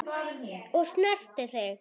Og ég snerti þig.